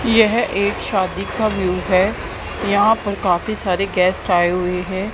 यह एक शादी का व्यू है यहां पर काफी सारे गेस्ट आए हुए हैं।